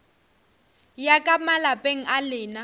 ya ka malapeng a lena